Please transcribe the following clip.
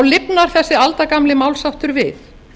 lifnar þessi aldagamli málsháttur við